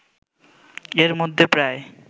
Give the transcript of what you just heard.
এর মধ্যে প্রায়